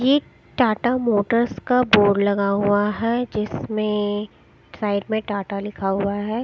एक टाटा मोटर्स का बोर्ड लगा हुआ है जिसमें साइड में टाटा लिखा हुआ है।